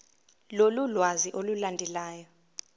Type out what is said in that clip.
lolu lwazi olulandelayo